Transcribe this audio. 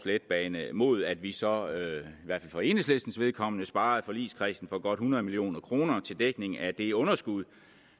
letbane mod at vi så i hvert fald for enhedslistens vedkommende sparer forligskredsen for godt hundrede million kroner til dækning af det underskud